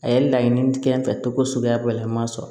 A ye laɲini kɛ n fɛ cogo suguya dɔ la n ma sɔn